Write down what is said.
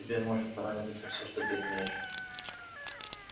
тебе может понадобиться всё что ты имеешь